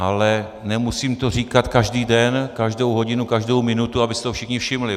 Ale nemusím to říkat každý den, každou hodinu, každou minutu, aby si toho všichni všimli.